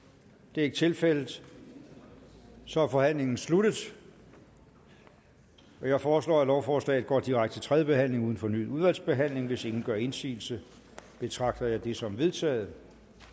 det er ikke tilfældet så er forhandlingen sluttet jeg foreslår at lovforslaget går direkte til tredje behandling uden fornyet udvalgsbehandling hvis ingen gør indsigelse betragter jeg det som vedtaget